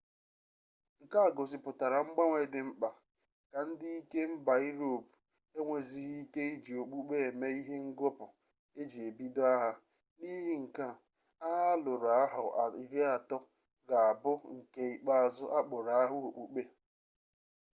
nke a gosipụtara mgbanwe dị mkpa ka ndị ike mba iroopu enwezighi ike iji okpukpe eme ihe ngọpụ eji ebido agha n'ihi nke a agha alụrụ ahọ iri atọ ga abụ nke ikpeazụ akpọrọ agha okpukpe